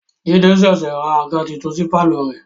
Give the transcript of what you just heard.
Jide ṣẹ̀ṣẹ̀ ra àga titun sí pàlọ́ rẹ̀ ni